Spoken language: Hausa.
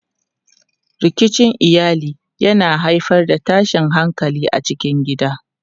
Rikicin iyali yana haifar da tashin hankali a cikin gida.